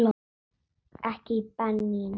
Ekki Benín.